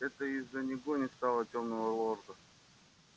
ведь это из-за него не стало тёмного лорда